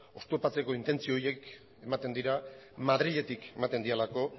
oztopatzeko intentzio horiek ematen dira madriletik ematen direlako